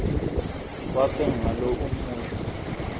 wakhe ngalo umusho